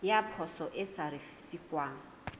ya poso e sa risefuwang